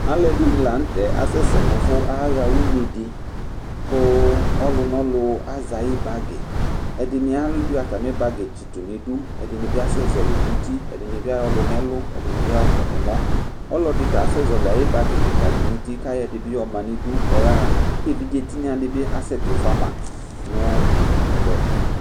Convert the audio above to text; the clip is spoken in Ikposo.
Alʋ ɛɖɩnɩ la nʋ tʋ ɛɖɩ yɛ, aƙa sɛsɛ nʋ ʋvʋ ƴaɣa nʋ une ɖɩ ƙʋ ɔlʋ nʋ ɔlʋ azɛ aƴʋ bagɩƐɖɩnɩ aƴɔ ata mɩ bagɩ tsɩtʋ nʋ iɖu, ɛɖɩnɩ asɛ zɛhɔlɩ nʋ uti, ɛɖɩnɩ bɩ aƴɔ lʋ nʋ ɛlʋ; ɛɖɩ bɩ aƴɔ ƙɔ nʋ ɛmɔ, ɔlɔɖɩ ta asɛ zɛhɔlɩ aƴʋ bagɩ ƙɩƙa ɖɩ nʋ uti ,ƙʋ aƴɔ ɛɖɩ bɩ ƴɔ ma nʋ iɖu ƙʋ ɔƴa ɣaƘʋ eviɖze tɩnƴa ɖɩ bɩ asɛ tɩ fʋama